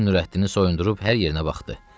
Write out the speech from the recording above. Həkim Nurəddini soyundurub hər yerinə baxdı.